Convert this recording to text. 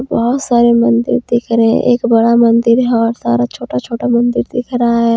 बहुत सारे मंदिर दिख रहे हैं एक बड़ा मंदिर है और सारा छोटा छोटा मंदिर दिख रहा है।